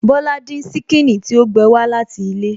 Bọ́lá dín ṣíkìnnì tí ó gbé wá láti ilé